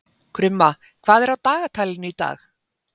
Krumma, hvað er á dagatalinu í dag?